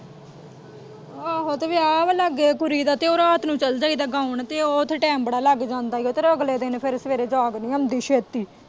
ਆਹੋ ਤੇ ਵਿਆਹ ਵਾਂ ਲਾਂਗੇ ਕੁੜੀ ਦਾ ਤੇ ਉਹ ਰਾਤ ਨੂੰ ਚੱਲ ਜਾਈ ਦਾ ਗਾਉਣ ਤੇ ਉੱਥੇ ਟੈਮ ਬੜਾ ਲੱਗ ਜਾਂਦਾ ਏ ਤੇ ਉਹ ਫੇਰ ਅਗਲੇ ਦਿਨ ਫੇਰ ਸਵੇਰੇ ਜਾਗ ਨੀ ਆਉਂਦੀ ਛੇਤੀ।